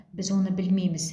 біз оны білмейміз